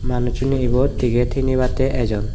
manuc chuney ebot ticket hinibattey ejon.